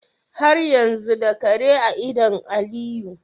Har yanzu da Kare a idan aliyu